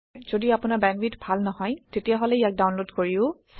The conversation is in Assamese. যদি আপোনাৰ বেন্দৱিথ ভাল নহয় তেতিয়াহলে ইয়াক ডাওনলোদ কৰিও চাব পাৰে